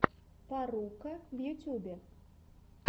фарруко в ютубе